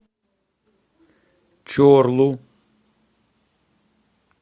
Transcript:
чорлу